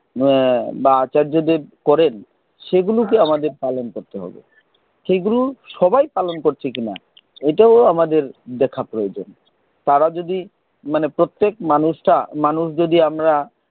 এর বা আচার্যদেব করেন, সেগুলো কে আমাদের পালন করতে হবে। সেগুলো সবাই পালন করছে কিনা, এটাও আমাদের দেখা প্রয়োজন। তারা যদি, মানে প্রত্যেক মানুষটা, মানুষ যদি আমরা,